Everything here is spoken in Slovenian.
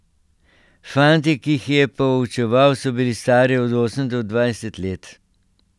Fanti, ki jih je poučeval, so bili stari od osem do dvajset let.